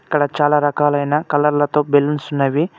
ఇక్కడ చాలా రకాలైన కలర్ లతో బెల్లూన్స్ ఉన్నవి.